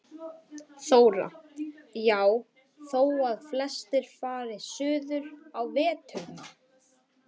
Þóra: Já, þó að flestir fari suður á veturna?